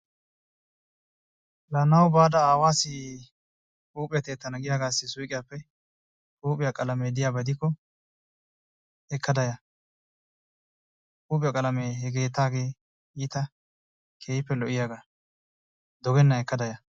La naw baada aawassi huuphiyaa tiyyetana giyaagassi suyqqiyappe huiphiyaa qalame diyaaba diko ekkada yaa. Huiphiya qalamee he keettagee iitta keehippe lo"iyaaga, dogennan ekkada yaa.